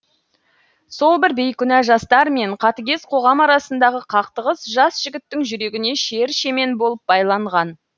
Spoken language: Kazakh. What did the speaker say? сол бір бейкүнә жастар мен қатыгез қоғам арасындағы қақтығыс жас жігіттің жүрегіне шер шемен болып байланған